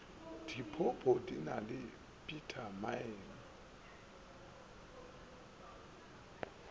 diphopho di na le bitamine